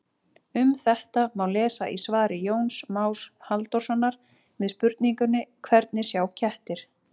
Um þetta má lesa í svari Jóns Más Halldórssonar við spurningunni Hvernig sjá kettir?